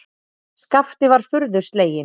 Skapti var furðu sleginn.